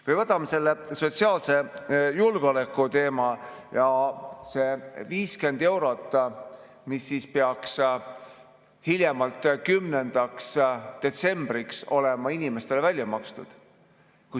Või võtame sotsiaalse julgeoleku teema ja selle 50 eurot, mis peaks hiljemalt 10. detsembriks olema inimestele välja makstud.